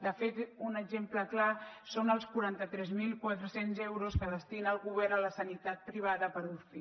de fet un exemple clar són els quaranta tres mil quatre cents euros que destina el govern a la sanitat privada per uci